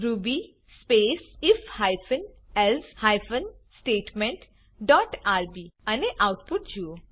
Ruby space I F hyphen else hyphen statement dot R B અને આઉટપુટજુઓ